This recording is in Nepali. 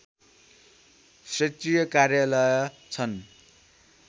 क्षेत्रीय कार्यालय छन्